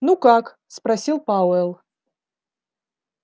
ну как спросил пауэлл